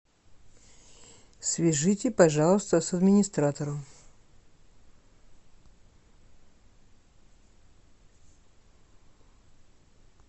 свяжите пожалуйста с администратором